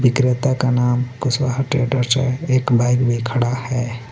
विक्रेता का नाम कुशवाहा ट्रेडर्स हे एक बाईक भी खड़ा हे.